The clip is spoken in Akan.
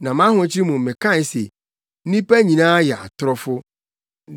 Na mʼahokyere mu mekae se, “Nnipa nyinaa yɛ atorofo.”